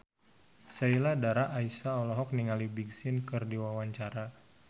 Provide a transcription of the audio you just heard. Sheila Dara Aisha olohok ningali Big Sean keur diwawancara